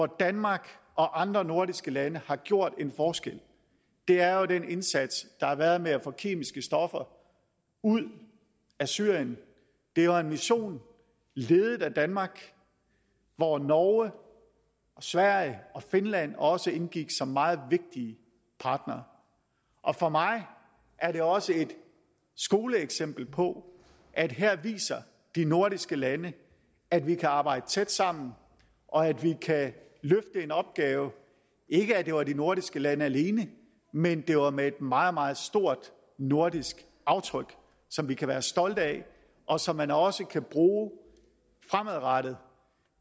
danmark og andre nordiske lande har gjort en forskel er jo den indsats der har været med at få kemiske stoffer ud af syrien det var en mission ledet af danmark hvor norge sverige og finland også indgik som meget vigtige partnere og for mig er det også et skoleeksempel på at her viser de nordiske lande at vi kan arbejde tæt sammen og at vi kan løfte en opgave ikke at det var de nordiske lande alene men det var med et meget meget stort nordisk aftryk som vi kan være stolte af og som man også kan bruge fremadrettet